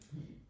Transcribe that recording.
Hm